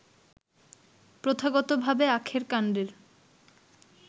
প্রথাগতভাবে আখের কান্ডের